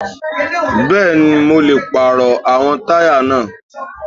Bẹ́ẹ̀ni, mo lè àwọn pàrọ̀ táyà náà.